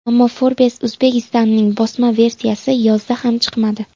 Ammo Forbes Uzbekistan’ning bosma versiyasi yozda ham chiqmadi.